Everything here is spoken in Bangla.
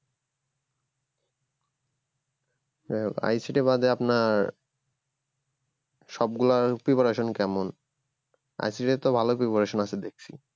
যাই হোক ICT বাদে আপনার সবগুলোর preparation কেমন ICT ইর তো ভালো preparation আছে দেখছি